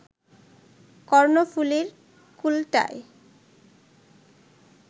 কর্ণফুলীর কূলটায়